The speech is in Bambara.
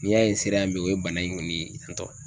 N'i y'a ye se sera yan bi o bana in kɔni ten tɔn